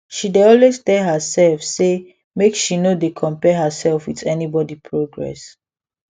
she dey always dey tell herself say make she she no dey compare herself with anybody progress